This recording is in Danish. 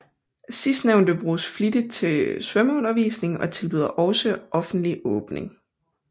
Sidstnævnte bruges flittigt til svømmeundervisning og tilbyder også offentlig åbning